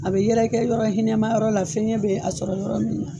A bɛ yɛrɛkɛ yɔrɔ hinɛma yɔrɔ la fiɲɛ bɛ a sɔrɔ yɔrɔ min